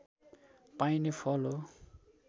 पाइने फल हो